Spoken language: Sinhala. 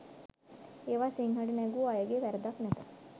ඒවා සිංහලට නැගූ අයගේ වරදක් නැත.